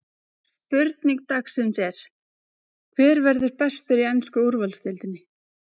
Spurning dagsins er: Hver verður bestur í ensku úrvalsdeildinni?